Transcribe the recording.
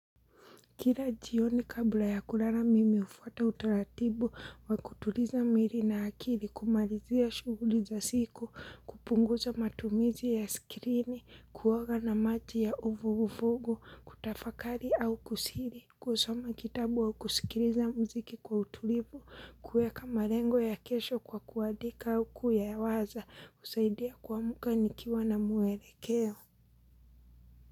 Kila jioni kabla ya kulala mimi hufuata utaratibu wa kutuliza mwili na akili, kumalizia shuguli za siku, kupunguza matumizi ya skrini, kuoga na maji ya uvuguvugu, kutafakari au kusiri. \Kusoma kitabu au kusikiliza mziki kwa utulivu, kueka malengo ya kesho kwa kuandika au kuyawaza, husaidia kuamka nikiwa na mwelekeo.